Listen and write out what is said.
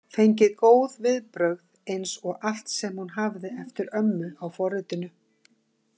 Fengi góð viðbrögð eins og allt sem hún hafði eftir ömmu á forritinu.